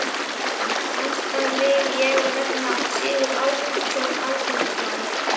Næstan vil ég nefna Sigurð Ágústsson alþingismann.